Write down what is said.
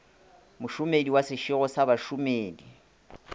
mošomedi wa sešego sa bašomedi